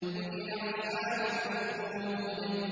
قُتِلَ أَصْحَابُ الْأُخْدُودِ